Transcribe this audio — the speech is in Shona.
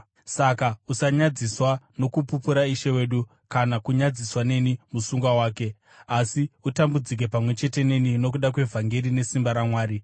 Saka usanyadziswa nokupupura Ishe wedu, kana kunyadziswa neni musungwa wake. Asi utambudzike pamwe chete neni nokuda kwevhangeri, nesimba raMwari,